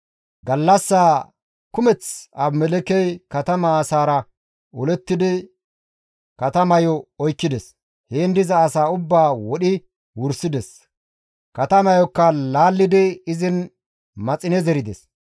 Gallassaa kumeth Abimelekkey katama asaara olettidi katamayo oykkides; heen diza asaa ubbaa wodhi wursides; katamayokka laallidi izin maxine zerides.